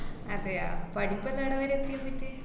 അതെയാ പഠിപ്പെല്ലാം ഏടെവരെയെത്തി ന്നിട്ട്?